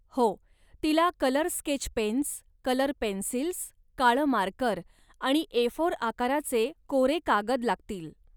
हो, तिला colour sketch pens, colour pencils, काळं मार्कर आणि ए फोर आकाराचे कोरे कागद लागतील.